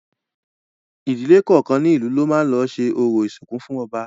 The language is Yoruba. Ìdílé kọ̀ọ̀kan ní ìlú ló máa lọ ṣẹ orò ìsìnkú fún ọba